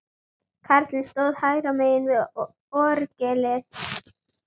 Karlarnir stóðu hægra megin við orgelið.